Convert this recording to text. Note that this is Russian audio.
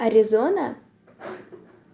аризона